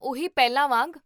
ਉਹੀ ਪਹਿਲਾਂ ਵਾਂਗ